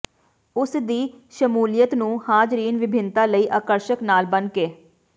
ਉਸ ਦੀ ਸ਼ਮੂਲੀਅਤ ਨੂੰ ਹਾਜ਼ਰੀਨ ਵਿਭਿੰਨਤਾ ਲਈ ਆਕਰਸ਼ਕ ਨਾਲ ਬਣਕੇ